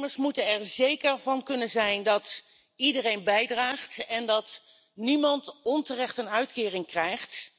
Werknemers moeten er zeker van kunnen zijn dat iedereen bijdraagt en dat niemand onterecht een uitkering krijgt,